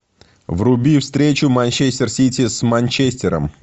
вруби встречу манчестер сити с манчестером